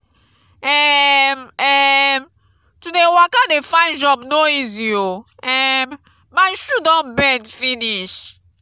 um um to dey waka dey find job no easy o um my shoe don bend finish.